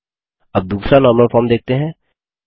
अब दूसरा normal form देखते हैं